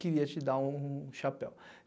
queria te dar um um chapéu.